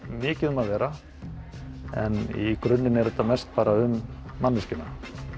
mikið um að vera en í grunninn er þetta mest um manneskjuna